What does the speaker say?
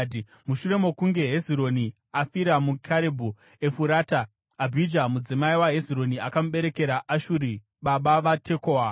Mushure mokunge Hezironi afira muKarebhu Efurata, Abhija mudzimai waHezironi akamuberekera Ashuri baba vaTekoa.